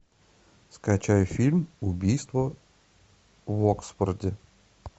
скачай фильм убийство в оксфорде